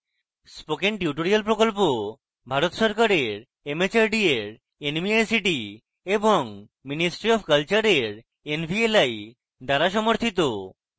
spoken tutorial project Bharat সরকারের mhrd এর nmeict এবং ministry অফ কলচারের nvli দ্বারা সমর্থিত